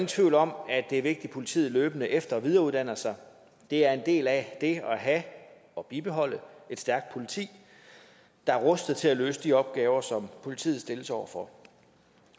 tvivl om at det er vigtigt at politiet løbende efter og videreuddanner sig det er en del af det at have og bibeholde et stærkt politi der er rustet til at løse de opgaver som politiet stilles over for